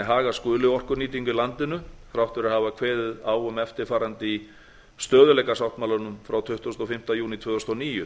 haga skuli orkunýtingu í landinu þrátt fyrir að hafa kveðið á um eftirfarandi í stöðugleikasáttmálanum frá tuttugasta og fimmta júní tvö þúsund og níu